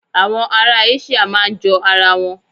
Àwọn ará Áṣííà máa ń jọ ara wọn.